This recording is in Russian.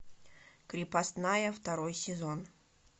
крепостная второй сезон